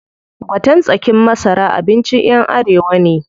Gwaten tsakin masara abincin ƴan arewa ne.